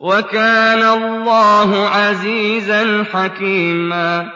وَكَانَ اللَّهُ عَزِيزًا حَكِيمًا